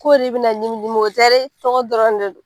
K'o de bɛna ɲimiɲimi o tɛ dɛ tɔgɔ dɔrɔn de do.